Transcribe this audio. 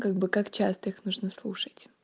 как бы как часто их нужно слушать